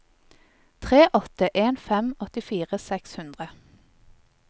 tre åtte en fem åttifire seks hundre